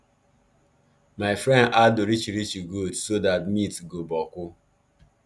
my friend add orichirichi goat so that meat go boku